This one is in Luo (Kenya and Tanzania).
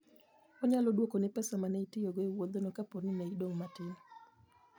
Onyalo dwokoni pesa ma ne itiyogo e wuodhno kapo ni ne idong' matin.